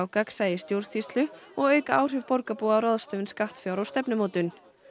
gagnsæi í stjórnsýslu og auka áhrif borgarbúa á ráðstöfun skattfjár og stefnumótun